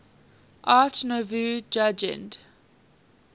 art nouveau jugend